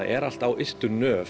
er allt á ystu nöf